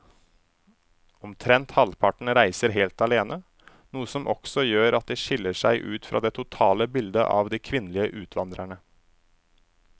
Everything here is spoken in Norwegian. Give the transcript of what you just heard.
Omtrent halvparten reiser helt alene, noe som også gjør at de skiller seg ut fra det totale bildet av de kvinnelige utvandrerne.